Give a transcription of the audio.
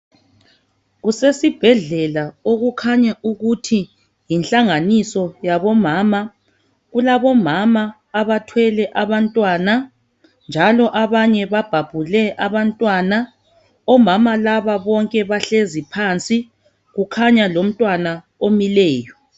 Kusesibhedlela okukhanya ukuthi yinhlanganiso yabomama. Kulabomama abathwele abantwana njalo banye babhabhule abantwana . Omama laba bonke bahlezi phansi kukhanya lomntwana omileyo.